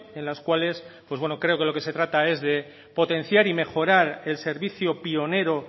en las cuales creo que de lo que se trata es de potenciar y mejorar el servicio pionero